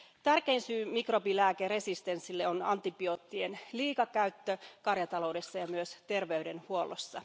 Tärkein syy mikrobilääkeresistenssille on antibioottien liikakäyttö karjataloudessa ja myös terveydenhuollossa.